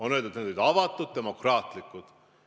On öeldud, et need olid avatud, demokraatlikud.